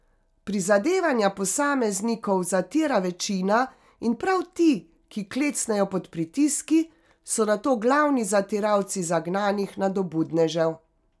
Prizadevanja posameznikov zatira večina in prav ti, ki klecnejo pod pritiski, so nato glavni zatiralci zagnanih nadobudnežev.